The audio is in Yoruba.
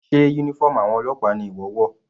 Sé uniform àwọn ọlọ́pàá ni ìwọ wọ̀?